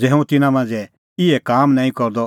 ज़ै हुंह तिन्नां मांझ़ै इहै काम नांईं करदअ